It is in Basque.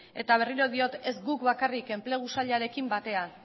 eta berriro diot ez guk bakarrik enplegu sailarekin batera